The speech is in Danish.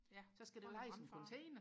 ja på grund af brandfare